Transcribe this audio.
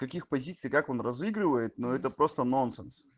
каких позиций как он разыгрывает но это просто нонсенс